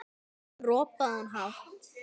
Síðan ropaði hann hátt.